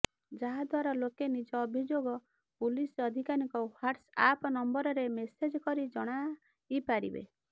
ଯାହାଦ୍ୱାରା ଲୋକେ ନିଜ ଅଭିଯୋଗ ପୁଲିସ ଅଧିକାରୀଙ୍କ ହ୍ବାଟ୍ସଆପ ନମ୍ବରରେ ମେସେଜ କରି ଜଣାଇପାରିବେ